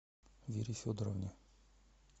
вере федоровне